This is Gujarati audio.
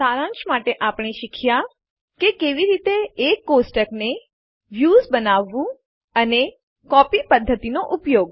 સારાંશ માટે આપણે શીખ્યાં કે કેવી રીતે એક ટેબલ કોષ્ટકને a વ્યુંસ બનાવવું અને b કોપી પધ્ધતિ નો ઉપયોગ